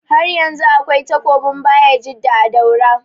Haryanzu akwai takobin bayajidda a daura